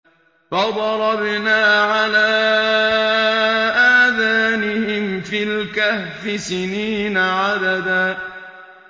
فَضَرَبْنَا عَلَىٰ آذَانِهِمْ فِي الْكَهْفِ سِنِينَ عَدَدًا